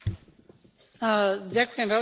Ďakujem veľmi pekne za otázku.